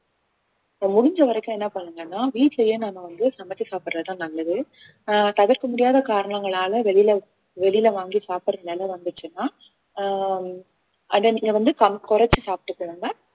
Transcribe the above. ஆஹ் முடிஞ்ச வரைக்கும் என்ன பண்ணுங்கன்னா வீட்டிலேயே நாம வந்து சமைச்சி சாப்பிடுறதுதான் நல்லது ஆஹ் தவிர்க்க முடியாத காரணங்களால வெளியில வெளியில வாங்கி சாப்பிடுற நிலைமை வந்துச்சுன்னா ஆஹ் அதை நீங்க வந்து கம்~ குறைச்சு சாப்பிட்டுகிடுங்க